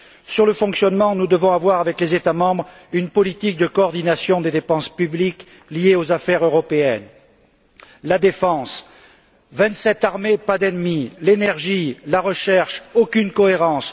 Sur le fonctionnement nous devons avoir, avec les États membres, une politique de coordination des dépenses publiques liées aux affaires européennes la défense vingt sept armées, pas d'ennemis l'énergie, la recherche, aucune cohérence